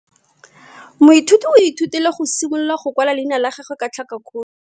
Moithuti o ithutile go simolola go kwala leina la gagwe ka tlhakakgolo.